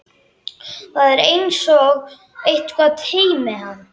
Það er einsog eitthvað teymi hann.